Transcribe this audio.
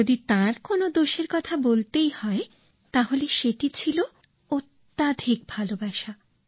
যদি তাঁর কোনো দোষের কথা বলতেই হয় তাহলে সেটি ছিল অত্যধিক ভালোবাসা